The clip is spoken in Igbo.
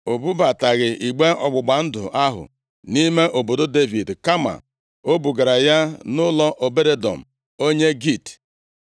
O bubataghị igbe ọgbụgba ndụ ahụ nʼime obodo Devid, kama o bugara ya nʼụlọ Obed-Edọm, onye Git.